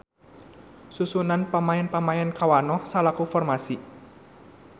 Susunan pamaen-pamaen kawanoh salaku formasi.